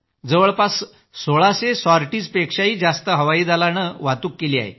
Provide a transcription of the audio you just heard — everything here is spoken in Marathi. जवळपास सोळाशे साॅर्टिज्पेक्षाही जास्त हवाई दलाने वाहतूक केली आहे